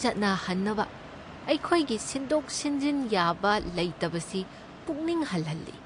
ꯆꯠꯅꯍꯟꯅꯕ ꯑꯩꯈꯣꯏꯒꯤ ꯁꯤꯟꯗꯣꯛ ꯁꯤꯟꯖꯤꯟ ꯌꯥꯕ ꯂꯩꯇꯕꯁꯤ ꯄꯨꯛꯅꯤꯡ ꯍꯟꯍꯜꯂꯤ꯫